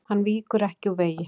Hann víkur ekki úr vegi.